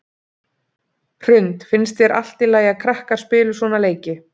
Hrund: Finnst þér allt í lagi að krakkar spili svona leiki?